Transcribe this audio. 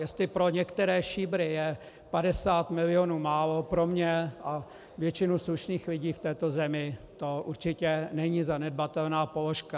Jestli pro některé šíbry je 50 milionů málo, pro mě a většinu slušných lidí v této zemi to určitě není zanedbatelná položka.